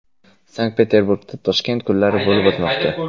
Sankt-Peterburgda Toshkent kunlari bo‘lib o‘tmoqda.